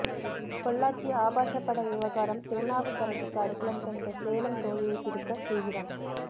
பொள்ளாச்சி ஆபாச பட விவகாரம் திருநாவுக்கரசுக்கு அடைக்கலம் தந்த சேலம் தோழியை பிடிக்க தீவிரம்